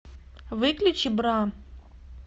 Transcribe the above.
выключи бра